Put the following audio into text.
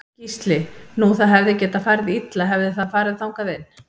Gísli: Nú það hefði getað farið illa hefði það farið þangað inn?